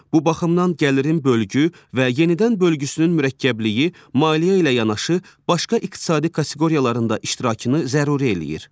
Bu baxımdan gəlirin bölgü və yenidən bölgüsünün mürəkkəbliyi maliyyə ilə yanaşı başqa iqtisadi kateqoriyalarında iştirakını zəruri eləyir.